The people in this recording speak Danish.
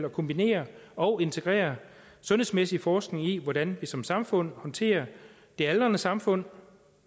at kombinere og integrere sundhedsmæssig forskning i hvordan vi som samfund håndterer det aldrende samfund